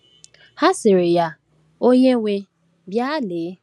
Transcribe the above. Ha sịrị ya, onyenwe, bịa lee.